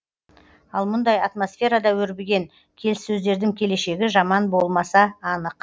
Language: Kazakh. ал мұндай атмосферада өрбіген келіссөздердің келешегі жаман болмаса анық